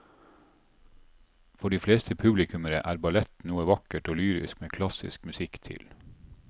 For de fleste publikummere er ballett noe vakkert og lyrisk med klassisk musikk til.